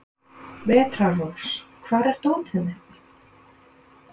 Vetrarrós, hvar er dótið mitt?